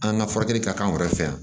An ka furakɛli ka k'an yɛrɛ fɛ yan